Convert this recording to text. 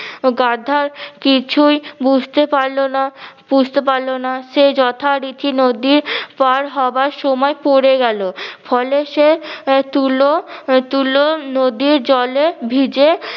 গাধা কিছুঁই বুঝতে পারলো না বুঝতে পারলো না সে যথা রীতি নদী পার হবার সময় পরে গেলো ফলে সে তুলো তুলো নদীর জলে ভিজে